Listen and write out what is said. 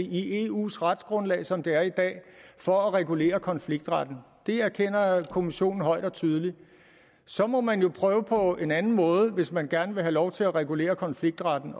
i eus retsgrundlag som det er i dag for at regulere konfliktretten det erkender kommissionen højt og tydeligt så må man jo prøve på en anden måde hvis man gerne vil have lov til at regulere konfliktretten